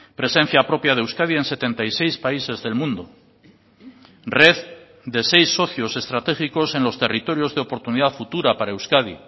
presencia propia de euskadi en setenta y seis países del mundo red de seis socios estratégicos en los territorios de oportunidad futura para euskadi